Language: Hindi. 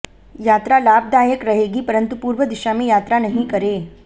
यात्रा लाभदायक रहेगी परन्तु पूर्व दिशा में यात्रा नहीं करे